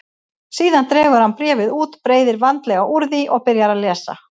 Síðan dregur hann bréfið út, breiðir vandlega úr því og byrjar að lesa.